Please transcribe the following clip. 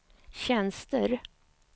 tjänster